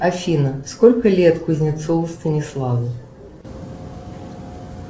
афина сколько лет кузнецову станиславу